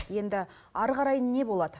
енді әрі қарай не болады